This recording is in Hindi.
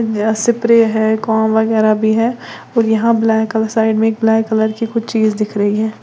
यहां स्प्रे है कॉम्ब वगैरा भी है और यहां ब्लैक कलर साइड में एक ब्लैक कलर की कुछ चीज दिख रही है।